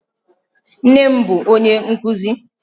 Nnem bụ onye nkuzi